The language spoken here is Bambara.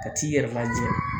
Ka t'i yɛrɛ lajɛ